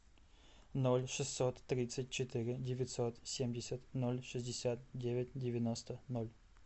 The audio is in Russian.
ноль шестьсот тридцать четыре девятьсот семьдесят ноль шестьдесят девять девяносто ноль